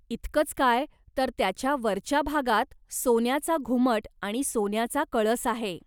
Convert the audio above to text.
इतकंच काय तर त्याच्या वरच्या भागात सोन्याचा घुमट आणि सोन्याचा कळस आहे.